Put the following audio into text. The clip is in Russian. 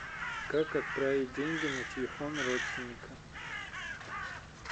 как отправить деньги на телефон родственника